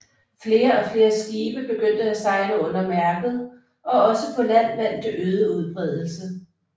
Flere og flere skibe begyndte at sejle under Mærket og også på land vandt det øget udbredelse